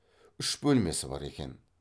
үш бөлмесі бар екен